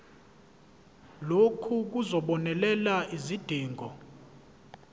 lokhu kuzobonelela izidingo